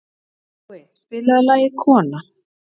Nói, spilaðu lagið „Kona“.